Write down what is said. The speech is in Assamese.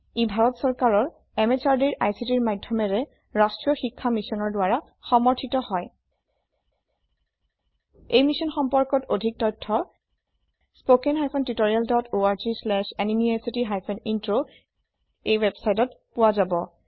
ই ভাৰত চৰকাৰৰ MHRDৰ ICTৰ মাধয়মেৰে ৰাস্ত্ৰীয় শিক্ষা মিছনৰ দ্ৱাৰা সমৰ্থিত হয় এই মিশ্যন সম্পৰ্কত অধিক তথ্য spoken hyphen tutorial dot org slash এনএমইআইচিত হাইফেন ইন্ট্ৰ ৱেবচাইটত পোৱা যাব